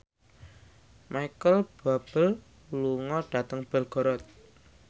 Micheal Bubble lunga dhateng Belgorod